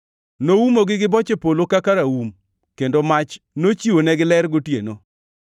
Noumogi gi boche polo kaka raum, kendo mach nochiwonegi ler gotieno.